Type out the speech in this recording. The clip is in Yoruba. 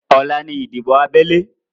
Ọ̀la ni ìdìbò abẹ́lé